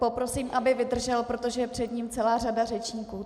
Poprosím, aby vydržel, protože je před ním celá řada řečníků.